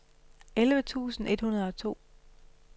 elleve tusind et hundrede og to